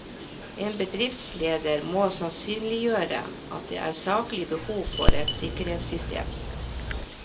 En bedriftsleder må sannsynliggjøre at det er saklig behov for et sikkerhetssystem.